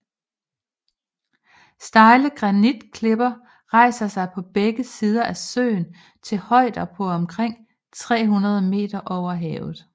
Stejle granitklipper rejser sig på begge sider af søen til højder på omkring 300 moh